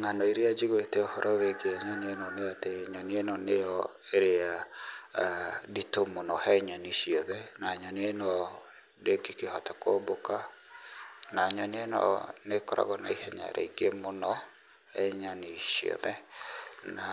Ng'ano iria njiguĩte ũhoro wĩgiĩ nyoni ĩno nĩ atĩ nyoni ĩno nĩyo ĩrĩa nditũ mũno he nyoni ciothe, na nyoni ĩno ndĩngĩkĩhota kũmbũka, na nyoni ĩno nĩ ĩkoragwo na ihenya rĩingĩ mũno he nyoni ciothe, na